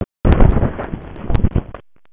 Hvernig finnst þér Fótbolti.net?